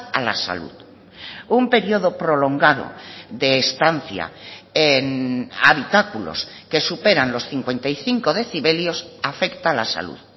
a la salud un periodo prolongado de estancia en habitáculos que superan los cincuenta y cinco decibelios afecta a la salud